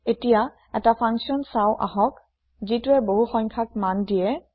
এতিয়া এটা ফাংছন চাওঁ আহক যিটোৱে বহুসংখ্যক মান দিয়ে